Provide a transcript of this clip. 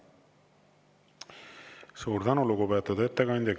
Suur tänu, lugupeetud ettekandja!